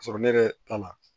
K'a sɔrɔ ne yɛrɛ t'a la